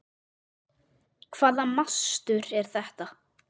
Hvaða mastur er þetta?